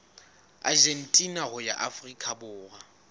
argentina ho ya afrika borwa